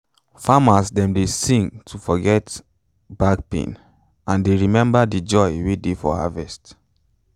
farmers dem dey sing to dey forget back pain and dey remember de joy wey dey for harvest